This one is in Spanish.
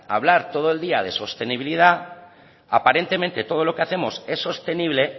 hablar todo el día de sostenibilidad aparentemente todo lo que hacemos es sostenible